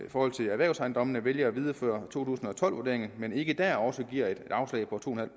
forhold til erhvervsejendommene vælger at videreføre to tusind og tolv vurderingen men ikke der også giver et afslag på to en halv